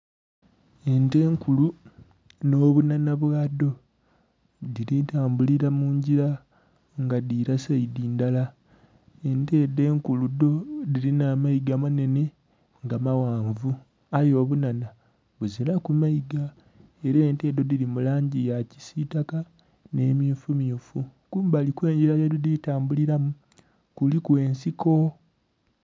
Ente enkulu nho bunhanha bwadho dhili tambulira mungira nga dhila seidhi ndhala, ente edho enkulu dho dhilinha amaiga manhenhe nga maghanvu aye obunhanha buziraku maiga era ente edho dhili mulangi yakisitaka nhe mmyufu mmyufu, kumbali okwengila kwedhi tambulimu kuliku ensiko.